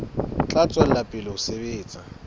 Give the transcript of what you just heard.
tla tswela pele ho sebetsa